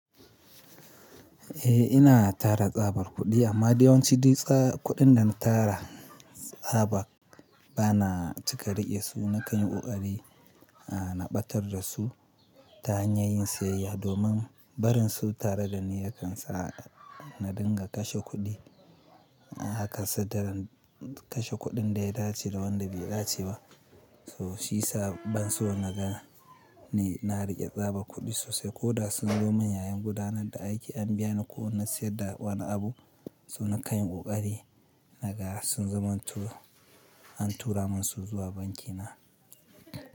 Eh ina tara tsabar kuɗi amma dayawan ci ɗi tsabar kuɗin da na tara tsabar bana cika riƙe su. Na kanyi kokari na ɓatar da su ta hanyar yin siyayya domin barin su tare da ni yakan sa na dinga kashe kuɗi. Haka sa taran kashe kuɗin da ya dace da wanda bai dace ba. To shi sabon suna naga ne na riƙe tsabar kuɗi sosai. Ko da sun zo min yayin gudanar da aiki an biya ni ko na sayar da wani abu. To na kai kokari naga sun zama tu, an tura min su zuwa banki na.